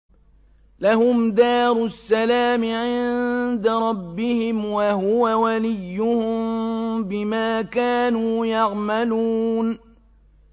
۞ لَهُمْ دَارُ السَّلَامِ عِندَ رَبِّهِمْ ۖ وَهُوَ وَلِيُّهُم بِمَا كَانُوا يَعْمَلُونَ